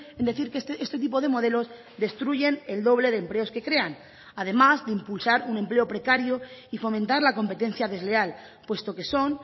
en decir que este tipo de modelos destruyen el doble de empleos que crean además de impulsar un empleo precario y fomentar la competencia desleal puesto que son